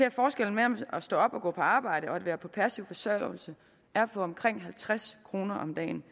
at forskellen mellem at stå op og gå på arbejde og at være på passiv forsørgelse er på omkring halvtreds kroner om dagen